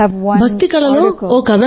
భక్తి కళలో ఒక కథనం ఉంది